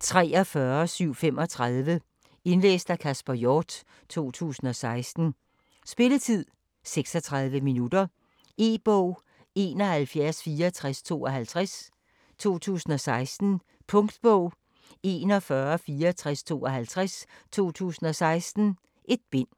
43735 Indlæst af Kasper Hjort, 2016. Spilletid: 0 timer, 36 minutter. E-bog 716452 2016. Punktbog 416452 2016. 1 bind.